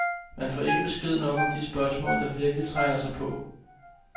Man får ikke besked nok om de spørgsmål, der virkelig trænger sig på.